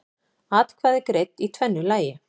Atkvæði greidd í tvennu lagi